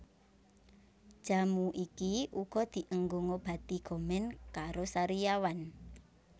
Jamu iki uga dienggo ngobati gomen karo sariawan